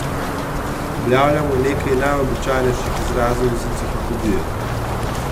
Objavljamo nekaj najobičajnejših izrazov iz enciklopedije.